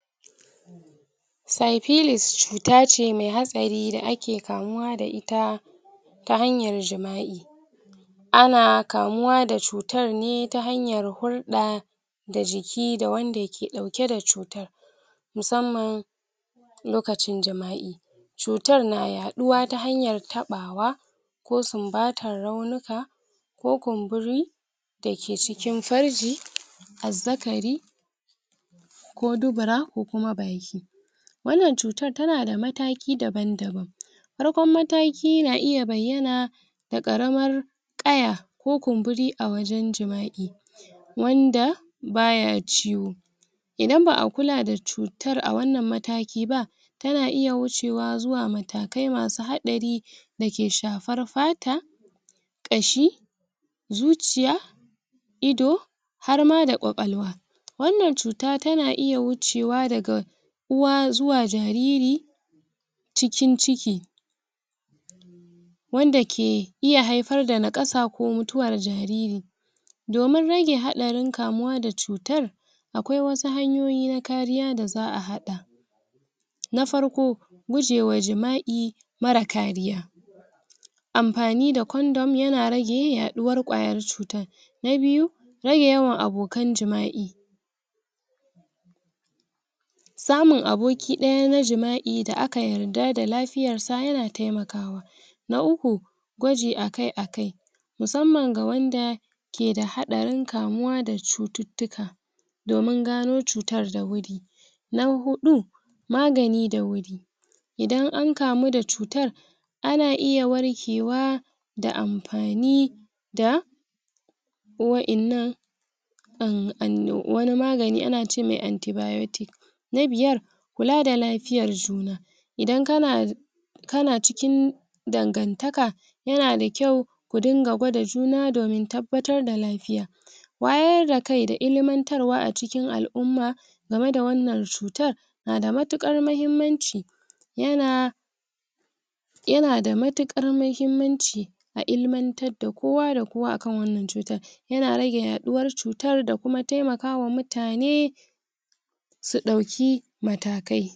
saifilis cuta ce me hatsari da ake kamuwa da ita ta hanyar jima'i ana kamuwa da cutar ne ta hanyar hulɗa da jiki da wanda ke ɗauke da cutar musamman lokacin jima'i cutar na yaɗuwa ta hanyar taɓawa ko sumbatar raunuka ko kumburi dake cikin farji azzakari ko dubura ko kuma baki wanan cutar tanada mataki daban daban farkon mataki na iya bayyana da ƙaramar ƙaya ko kumburi a wajan jima'i wanda baya ciwo idan ba'a kula da cutar a wannan mataki ba yana iya wucewa zuwa matakai masu haɗari dake shafar fata ƙashi zuciyz ido har ma da ƙwaƙwalwa wannan cuta tana iya wucewa daga uwa zuwa jariri cikin ciki wanda ke iya haifar da naƙasa ko mutuwar jariri domin rage haɗarin kamuwa da cutar akwai wasu hanyoyi na kariya da za'a haɗa na farko guje wa jima'i mara kariya anfani da condom yana rage yaɗuwar ƙwayar cutar na biyu rage yawan abokan jima'i samun aboki ɗaya na jima'i da aka yarda da lafiyar sa, yana temakawa na uku gwaji akai akai musamman ga wanda ke da haɗarin kamuwa da cututtuka domin gano cutar da wuri na huɗu magani da wuri idan ankamu da cutar ana iya warkewa da anpani da wainna um wani magani anace mai anti biotic na biyar kula da lafiyar juna idan kana kana cikin dangantaka yanada kyau ku dinga gwada juna domin tabbatar da lafiya wayar da kai da ilimantarwa acikin al'umma gameda wannan cutar nada mutukar mahimmanci yana yana da mutukar mahimmanci a ilimantar da kowa da kowa akan wanan cutar yana rage yaɗuwar cutar da kuma temaka wa mutane su ɗauki matakai